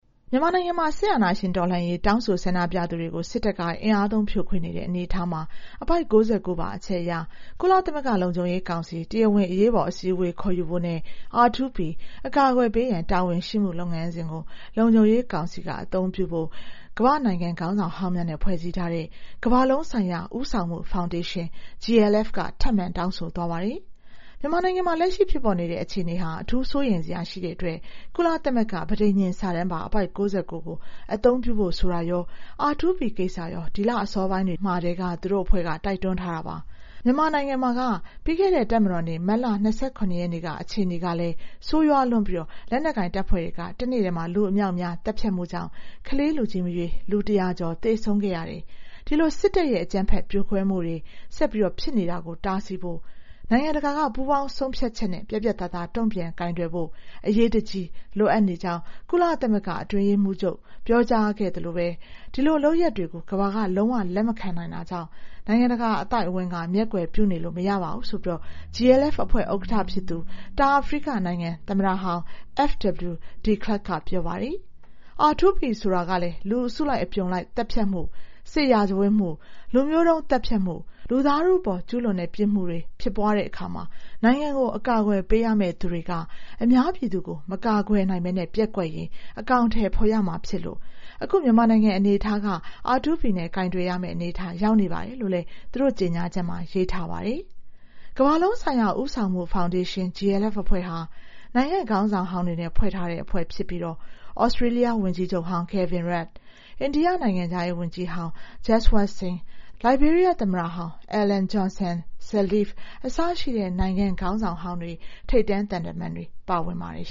မြန်မာနိုင်ငံမှာ စစ်အာဏာရှင်တော်လှန်ရေး တောင်းဆို ဆန္ဒပြသူတွေကို စစ်တပ်က အင်အားသုံး ဖြိုခွင်းနေတဲ့ အနေအထားမှာ အပိုဒ် ၉၉ ပါ အချက်အရ ကုလသမဂ္ဂလုံခြုံရေးကောင်စီ တရားဝင်အရေးပေါ် အစည်းအဝေးခေါ်ယူဖို့နဲ့ R2P အကာအကွယ်ပေးရန်တာဝန်ရှိမှု လုပ်ငန်းစဉ်ကို လုံခြုံရေးကောင်စီက အကောင်အထည်ဖော်ဖို့ ကမ္ဘာ့နိုင်ငံ ခေါင်းဆောင်ဟောင်းများနဲ့ ဖွဲ့စည်းထားတဲ့ ကမ္ဘာလုံးဆိုင်ရာ ဦးဆောင်မှုဖောင်ဒေးရှင်း GLF က ထပ်မံ တောင်းဆိုသွားပါတယ်။ မြန်မာနိုင်ငံမှာ လက်ရှိဖြစ်ပေါ်နေတဲ့ အခြေအနေဟာ အထူးစိုးရိမ်စရာရှိနေတဲ့အတွက် ကုလသမဂ္ဂပဋိညဉ်စာတန်းပါ အပိုဒ် ၉၉ ကို အကောင်အထည်ဖော်ဖို့ ဆိုတာရော R2P ကိစ္စရော ဒီလ အစောပိုင်းတွေမှာကတည်းက သူတို့အဖွဲ့က တိုက်တွန်းထားတာပါ။ မြန်မာနိုင်ငံမှာက ပြီးခဲ့တဲ့ တပ်မတော်နေ့ မတ်လ ၂၇ ရက်နေ့က အခြေအနေကလည်း ဆိုးရွားလွန်းပြီး လက်နက်ကိုင်တပ်ဖွဲ့တွေ တနေ့ထဲမှာ လူအမြောက်အများ သတ်ဖြတ်မှုကြောင့် ကလေးလူကြီး မရွေး လူ ၁၀၀ ကျော်သေဆုံးခဲ့ရတယ်။ ဒီလို စစ်တပ်ရဲ့ အကြမ်းဖက်ဖြိုခွင်းမှုတွေ ဆက်ပြီးဖြစ်နေတာကို တားဆီးဖို့ နိုင်ငံတကာက ပူးပေါင်းဆုံးဖြတ်ချက်နဲ့ ပြတ်ပြတ်သားသား တုံ့ပြန်ကိုင်တွယ်ဖို့ အရေးတကြီးလိုအပ်ကြောင်း ကုလသမဂ္ဂအတွင်းရေးမှူး ပြောကြားခဲ့သလိုပဲ ဒီလိုလုပ်ရပ်တွေကို ကမ္ဘာက လုံးဝ လက်မခံနိုင်တာကြောင့် နိုင်ငံတကာ အသိုက်အဝန်းက မျက်ကွယ်ပြုနေလို့မရပါဘူးဆိုပြီး GLF အဖွဲ့ ဥက္ကဋ္ဌ ဖြစ်သူ တောင်အာဖရိက နိုင်ငံသမ္မတဟောင်း FW de Klerk က ပြောပါတယ်။ R2P ဆိုတာကလည်း လူအစုလိုက်အပြုံလိုက် သတ်ဖြတ်မှု၊ စစ်ရာဇဝတ်မှု၊ လူမျိူးတုံးသတ်ဖြတ်မှု၊ လူသားထုအပေါ်ကျူးလွန်တဲ့ ပြစ်မှုတွေကို ကျူးလွန်တဲ့အခါ နိုင်ငံကို ကာကွယ်ပေးရမယ့်သူတွေက အများပြည်သူကို မကာကွယ်နိုင်ဘဲ ပျက်ကွက်ရင် အကောင်အထည်ဖော်ရမှာဖြစ်လို့ အခုမြန်မာနိုင်ငံအနေအထားက R2P နဲ့ ကိုင်တွယ်ရမယ့် အနေအထား ရောက်နေပါတယ်လို့လည်း သူတို့ ကြေညာချက်မှာ ရေးထားပါတယ်။ ကမ္ဘာလုံးဆိုင်ရာဦးဆောင်မှုဖောင်ဒေးရှင်း GLF အဖွဲ့ဟာ နိုင်ငံ့ခေါင်းဆောင်ဟောင်းတွေနဲ့ ဖွဲ့စည်းထားတဲ့ အဖွဲ့ ဖြစ်ပြီး Australia ဝန်ကြီးချုပ်ဟောင်း Kevin Rudd ၊ India နိုင်ငံခြားရေးဝန်ကြီးဟောင်း Jeswant Singh ၊ Liberia သမ္မတဟောင်း Ellen Johnson Sirleaf အစရှိတဲ့ နိုင်ငံခေါင်းဆောင်ဟောင်းတွေ ထိပ်တန်း သံတမန်တွေ ပါဝင်ပါတယ်